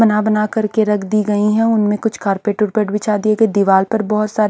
बना-बना कर के रख दी गई है उनमें कुछ कारपेट उर्पेट बिछा दी गई है दिवार पर बहुत सारे --